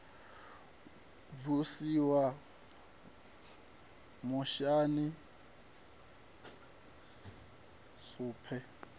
b u siwa muyani suspense